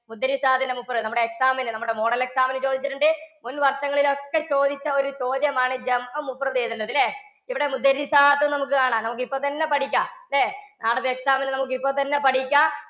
ത്തിന്‍ടെ നമ്മുടെ exam ന്, നമ്മുടെ model exam നു ചോദിച്ചിട്ടുണ്ട്. മുന്‍ വര്‍ഷങ്ങളിലൊക്കെ ചോദിച്ച ഒരു ചോദ്യമാണ് ല്ലേ? ഇവിടെ എന്ന് നമുക്ക് കാണാം. നമുക്കിപ്പോ തന്നെ പഠിക്കാം ല്ലേ? നാളത്തെ exam നു നമുക്കിപ്പൊ തന്നെ പഠിക്കാം.